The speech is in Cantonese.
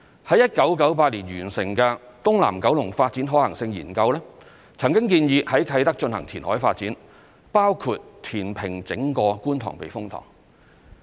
於1998年完成的"東南九龍發展可行性研究"曾建議在啟德進行填海發展，包括填平整個觀塘避風塘。